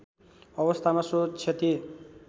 अवस्थामा सो क्षति